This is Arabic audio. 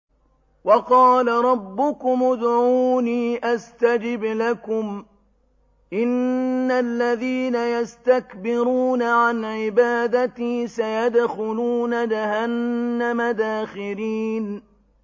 وَقَالَ رَبُّكُمُ ادْعُونِي أَسْتَجِبْ لَكُمْ ۚ إِنَّ الَّذِينَ يَسْتَكْبِرُونَ عَنْ عِبَادَتِي سَيَدْخُلُونَ جَهَنَّمَ دَاخِرِينَ